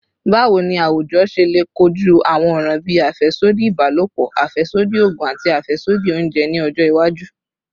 Bawo ni awujọ ṣe le koju awọn ọran bii afẹsodi ibalopọ, afẹsodi oogun, ati afẹsodi ounjẹ ni ọjọ iwaju?